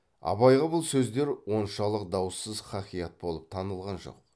абайға бұл сөздер оншалық даусыз хақиат болып танылған жоқ